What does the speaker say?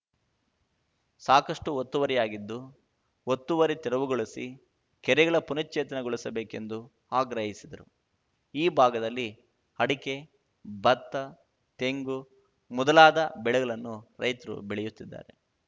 ಸಾಕಷ್ಟುಒತ್ತುವರಿಯಾಗಿದ್ದು ಒತ್ತುವರಿ ತೆರವುಗೊಳಿಸಿ ಕೆರೆಗಳ ಪುನಶ್ಚೇತನ ಗೊಳಿಸಬೇಕೆಂದು ಆಗ್ರಹಿಸಿದರು ಈ ಭಾಗದಲ್ಲಿ ಅಡಕೆ ಭತ್ತ ತೆಂಗು ಮೊದಲಾದ ಬೆಳೆಗಳನ್ನು ರೈತರು ಬೆಳೆಯುತ್ತಿದ್ದಾರೆ